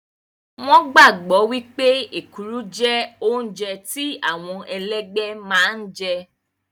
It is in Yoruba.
Wọn gbàgbọ́ wípé èkuru jẹ́ oúnjẹ tí àwọn ẹlẹ́gbẹ́ máa ń jẹ